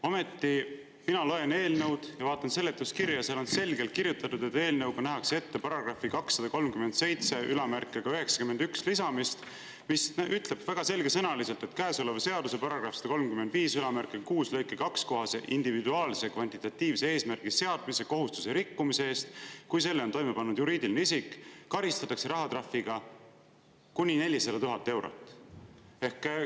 Ometi ma loen eelnõu ja vaatan seletuskirja ja seal on selgelt kirjutatud, et eelnõuga lisatakse § 23791, mis ütleb väga selgesõnaliselt: "Käesoleva seaduse § 1356 lõike 2 kohase individuaalse kvantitatiivse eesmärgi seadmise kohustuse rikkumise eest, kui selle on toime pannud juriidiline isik, karistatakse rahatrahviga kuni 400 000 eurot.